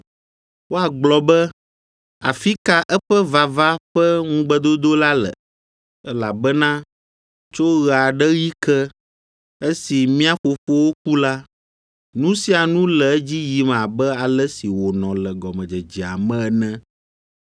Woagblɔ be, “Afi ka eƒe ‘vava’ ƒe ŋugbedodo la le? Elabena tso ɣe aɖe ɣi ke, esi mía fofowo ku la, nu sia nu le edzi yim abe ale si wònɔ le gɔmedzedzea me ene.”